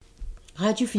Radio 4